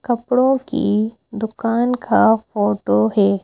कपड़ों की दुकान का फोटो है।